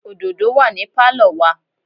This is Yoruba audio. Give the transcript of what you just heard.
òdòdó wà ní Pálọ̀ wa.